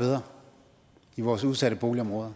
bedre i vores udsatte boligområder